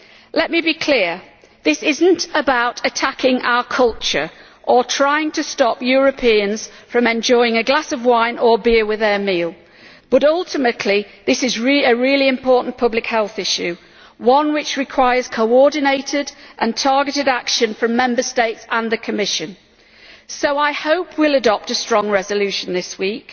Let me be clear, this is not about attacking our culture or trying to stop Europeans from enjoying a glass of wine or beer with their meal, but ultimately this is a really important public health issue one which requires coordinated and targeted action from Member States and the Commission. So I hope we will adopt a strong resolution this week.